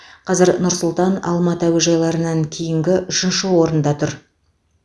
қазір нұр сұлтан алматы әуежайларынан кейінгі үшінші отырда тұр